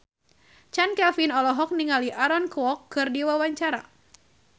Chand Kelvin olohok ningali Aaron Kwok keur diwawancara